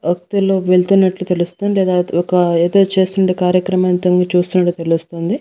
వెళ్తున్నట్లు తెలుస్తుంది లేదా ఒక ఎదో చేస్తున్నట్టు కార్యక్రమం తొంగి చూస్తున్నట్టు తెలుస్తుంది.